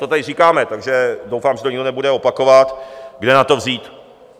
To tady říkáme, takže doufám, že to nikdo nebude opakovat, kde na to vzít.